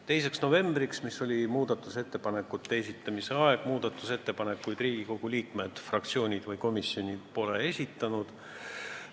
2. novembriks, mis oli muudatusettepanekute esitamise aeg, muudatusettepanekuid Riigikogu liikmed, fraktsioonid ega komisjonid ei esitanud.